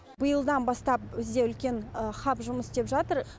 биылдан бастап бізде үлкен хаб жұмыс істеп жатыр